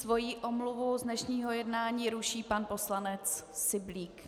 Svou omluvu z dnešního jednání ruší pan poslanec Syblík.